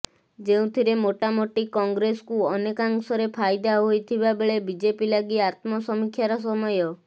ଯେଉଁଥିରେ ମୋଟାମୋଟି କଂଗ୍ରେସକୁ ଅନେକାଂଶରେ ଫାଇଦା ହୋଇଥିବା ବେଳେ ବିଜେପି ଲାଗି ଆତ୍ମସମୀକ୍ଷାର ସମୟ